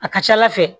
A ka ca ala fɛ